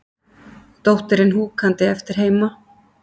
Dóttirin húkandi eftir heima.